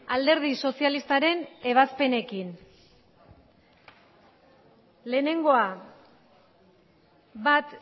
alderdi sozialistaren ebazpenekin lehenengoa bat